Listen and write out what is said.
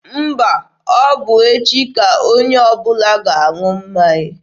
Mba, echi ka onye ọbụla ga-aṅụ mmanya.